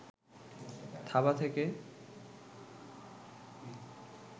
থাবা থেকে